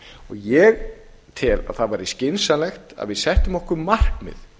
ég tel að það væri skynsamlegt að við settum okkur markmið